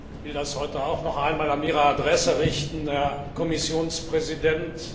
Ich will das heute auch noch einmal an Ihre Adresse richten, Herr Kommissionspräsident.